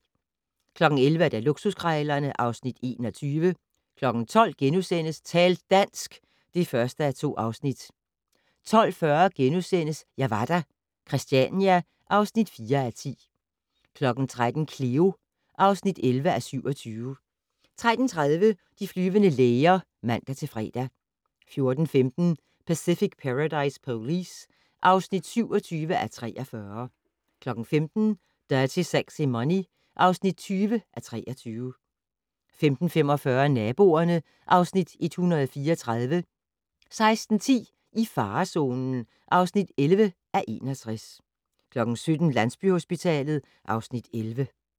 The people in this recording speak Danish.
11:00: Luksuskrejlerne (Afs. 21) 12:00: Tal dansk! (1:2)* 12:40: Jeg var der - Christiania (4:10)* 13:00: Cleo (11:27) 13:30: De flyvende læger (man-fre) 14:15: Pacific Paradise Police (27:43) 15:00: Dirty Sexy Money (20:23) 15:45: Naboerne (Afs. 134) 16:10: I farezonen (11:61) 17:00: Landsbyhospitalet (Afs. 11)